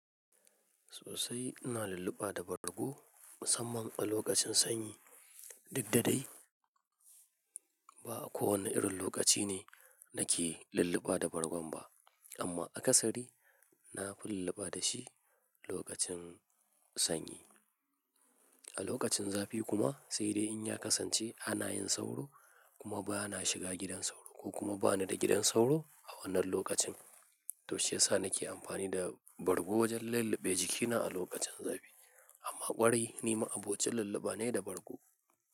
Sosai ina lulluɓa da bargo musamman a lokacin sanyi. Duk da dai ba kowane irin lokaci ne nake lulluɓa da bargon ba amma a kasari na fi lulluɓa da shi lokacin sanyi. A lokacin zafi kuma sai dai in ya kasance ana yin sauro kuma ba na shiga gidan sauro ko kuma ba ni da gidan sauro a wannan lokacin. To shi yasa nake amfani da bargo wajen lulluɓe jikina a lokacin zafi amma ƙwarai nima abocin lulluɓa ne da bargo.